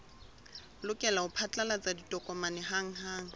lokela ho phatlalatsa ditokomane hanghang